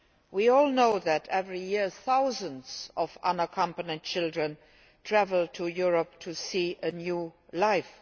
We all know that, every year, thousands of unaccompanied children travel to Europe to seek a new life.